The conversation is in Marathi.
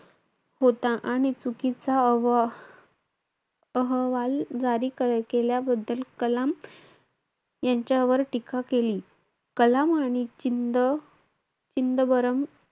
होता आणि चुकीचा अह~ अहवाल केल्याबद्दल कलाम यांच्यावर टीका केली. कलाम आणि चिंद~ चिदंबरम,